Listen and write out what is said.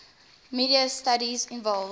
media studies involves